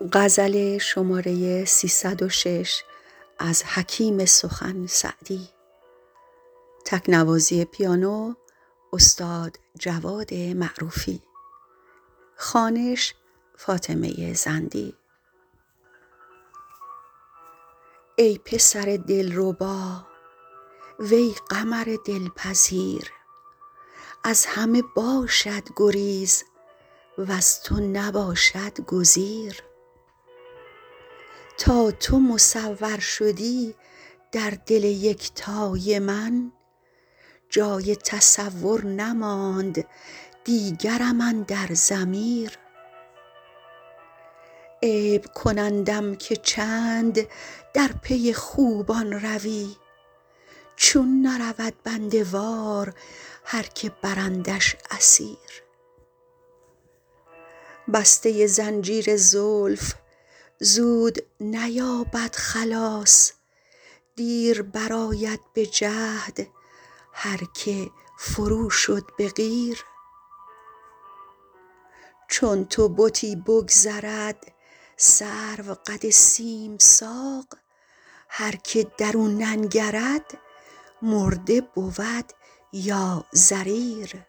ای پسر دلربا وی قمر دلپذیر از همه باشد گریز وز تو نباشد گزیر تا تو مصور شدی در دل یکتای من جای تصور نماند دیگرم اندر ضمیر عیب کنندم که چند در پی خوبان روی چون نرود بنده وار هر که برندش اسیر بسته زنجیر زلف زود نیابد خلاص دیر برآید به جهد هر که فرو شد به قیر چون تو بتی بگذرد سروقد سیم ساق هر که در او ننگرد مرده بود یا ضریر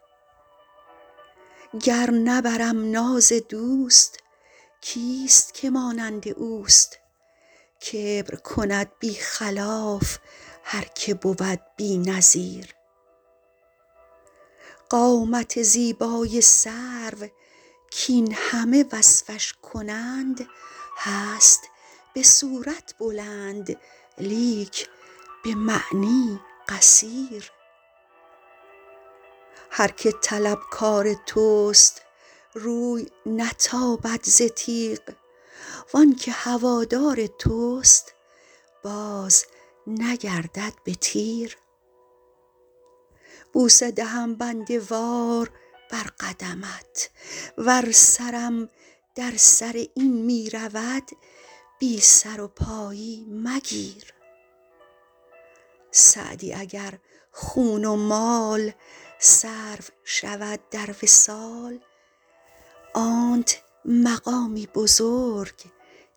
گر نبرم ناز دوست کیست که مانند اوست کبر کند بی خلاف هر که بود بی نظیر قامت زیبای سرو کاین همه وصفش کنند هست به صورت بلند لیک به معنی قصیر هر که طلبکار توست روی نتابد ز تیغ وان که هوادار توست بازنگردد به تیر بوسه دهم بنده وار بر قدمت ور سرم در سر این می رود بی سر و پایی مگیر سعدی اگر خون و مال صرف شود در وصال آنت مقامی بزرگ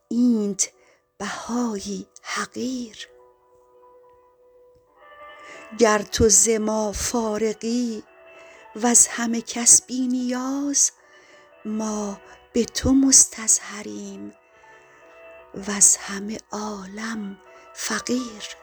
اینت بهایی حقیر گر تو ز ما فارغی وز همه کس بی نیاز ما به تو مستظهریم وز همه عالم فقیر